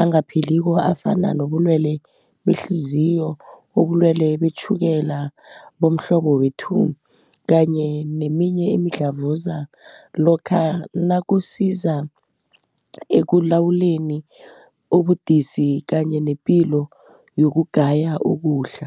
angapheliko afana nobulwele behliziyo, obulwele betjhukela bomhlobo we-Two, kanye neminye imidlavuza lokha nakusiza ekulawuleni ubudisi kanye nepilo yokugaya ukudla.